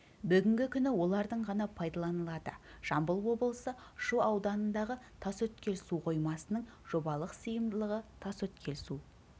бүгінгі күні олардың ғана пайдаланылады жамбыл облысы шу ауданындағы тасөткел су қоймасының жобалық сыйымдылығы тасөткел су